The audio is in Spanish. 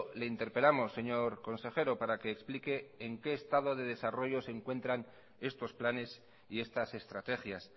le interpelamos señor consejero para que explique en qué estado de desarrollo se desarrollo se encuentran estos planes y estas estrategias